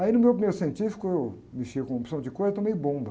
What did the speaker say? Aí, no meu primeiro científico, eu mexia com opção de cor e tomei bomba.